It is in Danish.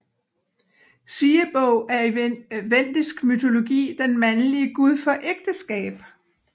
Siebog er i vendisk mytologi den mandlige gud for ægteskab